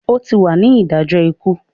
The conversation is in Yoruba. O tí wà ní idajọ ikú!